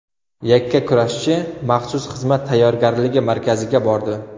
Yakkakurashchi maxsus xizmat tayyorgarligi markaziga bordi.